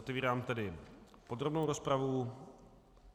Otevírám tedy podrobnou rozpravu.